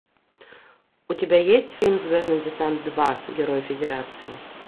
у тебя есть фильм звездный десант два герой федерации